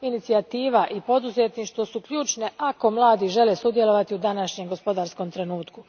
Inicijativa i poduzetništvo su ključni ako mladi žele sudjelovati u današnjem gospodarskom trenutku.